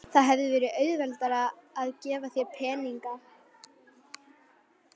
Það hefði verið auðveldara að gefa þér peninga.